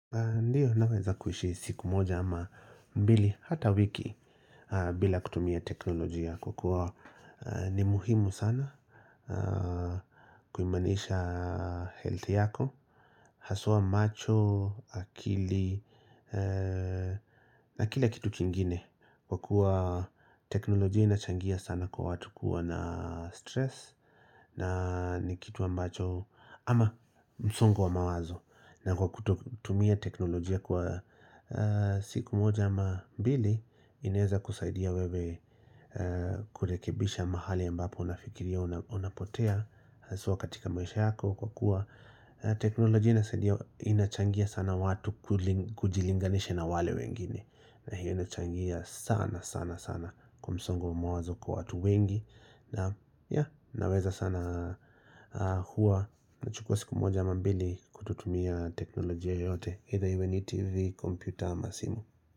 Ndiyo naweza kuishi siku moja ama mbili hata wiki bila kutumia teknolojia kwa kuwa ni muhimu sana kuimarisha health yako Haswa macho, akili na kila kitu kingine kwa kuwa teknolojia inachangia sana kwa watu kuwa na stress na ni kitu ambacho ama msongo wa mawazo na kwa kutumia teknolojia kwa siku moja ama mbili inaeza kusaidia wewe kurekebisha mahali ambapo unafikiria unapotea Haswa katika maisha yako kwa kuwa teknolojia inachangia sana watu kujilinganisha na wale wengine na hiyo inachangia sana sana sana kwa msongo wa mawazo kwa watu wengi na ya inaweza sana huwa Nachukwa siku moja ama mbili kutotumia teknolojia yote Either iwe ni tv au, computer, masimu.